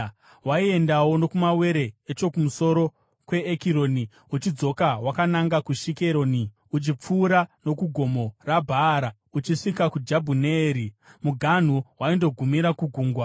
Waiendawo nokumawere echokumusoro kweEkironi, uchidzoka wakananga kuShikeroni, uchipfuura nokuGomo reBhaara uchisvika kuJabhuneeri. Muganhu waindogumira kugungwa.